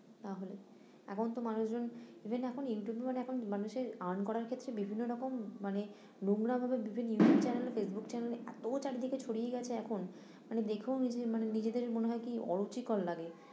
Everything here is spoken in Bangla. তাহলে এখন তো মানুষ জন even এখন ইউটিউবে মানে এখন মানুষের earn করার ক্ষেত্রে বিভিন্ন রকম মানে নোংরামো বিভিন্ন ইউটিউব চ্যানেলে ফেসবুক চ্যানেলে এ এতো চারদিকে ছড়িয়ে গেছে এখন, মানে দেখেও নিজ মানে নিজেদেরই মনে হয় কী অরুচিকর লাগে